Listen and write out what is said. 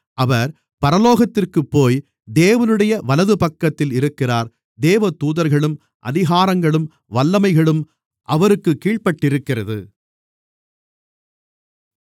அவர் பரலோகத்திற்குப்போய் தேவனுடைய வலதுபக்கத்தில் இருக்கிறார் தேவதூதர்களும் அதிகாரங்களும் வல்லமைகளும் அவருக்குக் கீழ்ப்பட்டிருக்கிறது